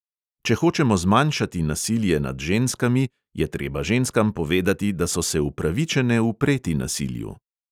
Če hočemo zmanjšati nasilje nad ženskami, je treba ženskam povedati, da so se upravičene upreti nasilju.